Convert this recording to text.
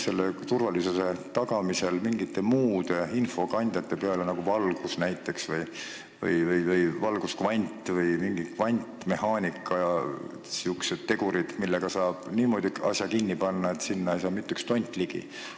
Kas turvalisuse tagamisel on mõeldud ka mingite muude infokandjate peale, näiteks valgus, valguskvant või mingid kvantmehhaanika tegurid, millega saab asja niimoodi kinni panna, et sinna ei saa ligi mitte üks tont?